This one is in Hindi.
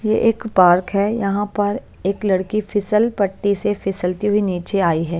ये एक पार्क है यहां पर एक लड़की फिसल पट्टी से फिसलती हुई नीचे आई है।